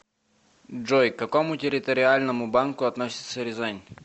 джой к какому территориальному банку относится рязань